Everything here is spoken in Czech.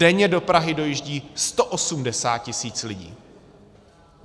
Denně do Prahy dojíždí 180 tisíc lidí.